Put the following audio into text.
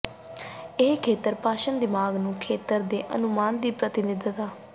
ਇਹ ਖੇਤਰ ਭਾਸ਼ਣ ਦਿਮਾਗ ਨੂੰ ਖੇਤਰ ਦੇ ਅਨੁਮਾਨ ਦੀ ਪ੍ਰਤੀਨਿਧਤਾ